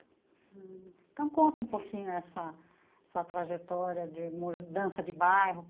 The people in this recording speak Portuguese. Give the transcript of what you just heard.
Então, conta um pouquinho essa essa trajetória de mudança de bairro.